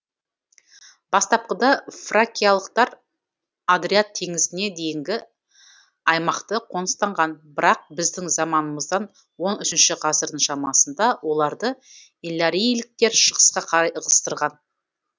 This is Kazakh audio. бастапқыда фракиялықтар адриат теңізіне дейінгі аймақты қоныстанған бірақ біздің заманымыздан он үшінші ғасырдың шамасында оларды илларийліктер шығысқа қарай ығыстырған